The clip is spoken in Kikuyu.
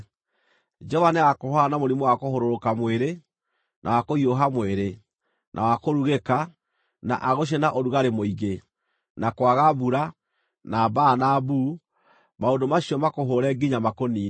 Jehova nĩagakũhũũra na mũrimũ wa kũhũrũrũka mwĩrĩ, na wa kũhiũha mwĩrĩ, na wa kũrugĩka, na agũcine na ũrugarĩ mũingĩ, na kwaga mbura, na mbaa na mbuu, maũndũ macio makũhũũre nginya makũniine.